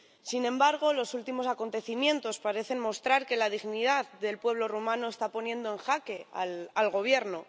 Sin embargo, los últimos acontecimientos parecen mostrar que la dignidad del pueblo rumano está poniendo en jaque al Gobierno.